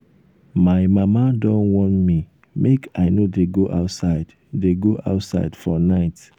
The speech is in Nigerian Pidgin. my mama don warn me make i no dey go outside dey go outside for night